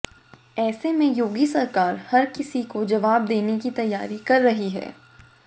ऐसे में योगी सरकार हर किसी को जवाब देनी की तैयारी कर रही है